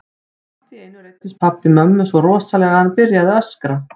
Allt í einu reiddist pabbi mömmu svo rosalega að hann byrjaði að öskra.